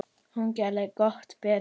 Hún gerði gott betur.